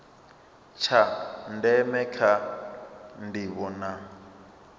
tsha ndeme kha ndivho na